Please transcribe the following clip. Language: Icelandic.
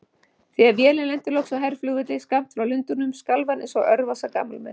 Þegar vélin lenti loks á herflugvelli skammt frá Lundúnum skalf hann einsog örvasa gamalmenni.